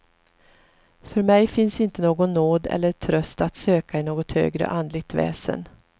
För mig finns inte någon nåd eller tröst att söka i något högre andligt väsen.